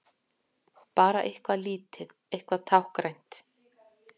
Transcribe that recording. Bara eitthvað lítið, eitthvað táknrænt.